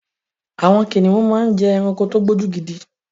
Àwọn kìnnìún máa ń jẹ́ ẹranko tí ó gbójú gidi.